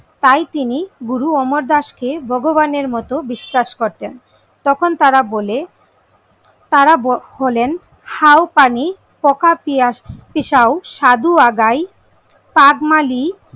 তাই তিনি গুরু অমরদাস কে ভগবানের মতো বিশ্বাস করেতন। তখন তারা বলে তারা বলেন হাউ পানি ককাপিয়াস সাধু আগাই কাকমালি